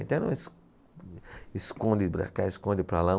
Então, es, esconde para cá, esconde para lá.